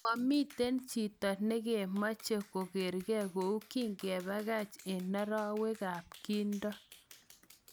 Mamiten chito nekemache kokerge kou kakipakach en rwaek ap kindo